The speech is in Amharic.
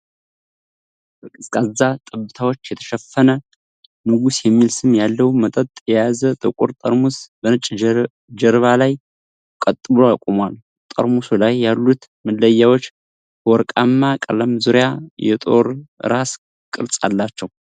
በቀዝቃዛ ጠብታዎች የተሸፈነ፣ “ንጉስ” የሚል ስም ያለው መጠጥ የያዘ ጥቁር ጠርሙስ በነጭ ጀርባ ላይ ቀጥ ብሎ ቆሟል። ጠርሙሱ ላይ ያሉት መለያዎች በወርቃማ ቀለም ዙሪያ የጦር ራስ ቅርጽ አላቸው።